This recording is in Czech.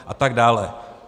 A tak dále.